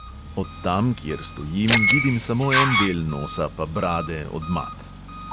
Od tam, kjer stojim, vidim samo en del nosa pa brade od mat.